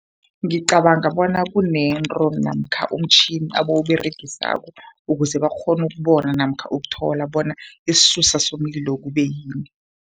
Ngicabanga bona kunento namkha umtjhini abawuberegisako, ukuze bakghone ukubona namkha ukuthola bona isisusa somlilo kube yini.